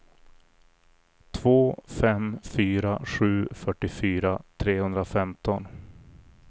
två fem fyra sju fyrtiofyra trehundrafemton